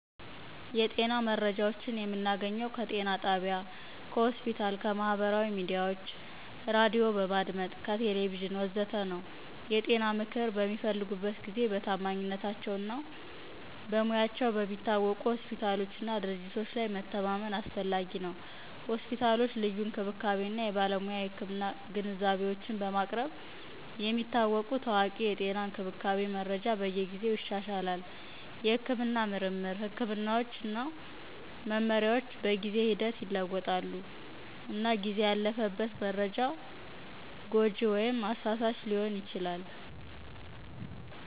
የጤና መረጃዎችን የምናገኘው ከጤና ጣቢያ ከሆስፒታል ከማህበራዊ ሚዲያዎች ራዲዮ በማድመጥ ከቴሌቪዥን ወዘተ ነው። የጤና ምክር በሚፈልጉበት ጊዜ በታማኝነታቸው እና በሙያቸው በሚታወቁ ሆስፒታሎች እና ድርጅቶች ላይ መተማመን አስፈላጊ ነው። ሆስፒታሎች ልዩ እንክብካቤ እና የባለሙያ የህክምና ግንዛቤዎችን በማቅረብ የሚታወቁ ታዋቂ የጤና እንክብካቤ መረጃ በየጊዜው ይሻሻላል. የሕክምና ምርምር፣ ሕክምናዎች እና መመሪያዎች በጊዜ ሂደት ይለወጣሉ፣ እና ጊዜ ያለፈበት መረጃ ጎጂ ወይም አሳሳች ሊሆን ይችላል